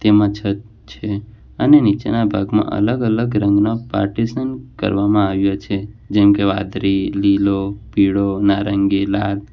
આમાં છત છે અને નીચેના ભાગમાં અલગ અલગ રંગના પાર્ટીશન કરવામાં આવ્યો છે જેમ કે વાદળી લીલો પીળો નારંગી લાલ.